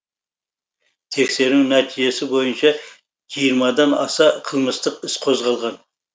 тексеру нәтижесі бойынша жиырмадан аса қылмыстық іс қозғалған